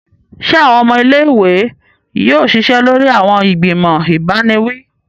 Se awọn ọmọ ilé-ìwé yóò ṣiṣẹ lórí awọn igbimọ ibaniwi?